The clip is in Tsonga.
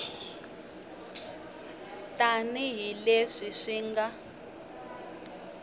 tani hi leswi swi nga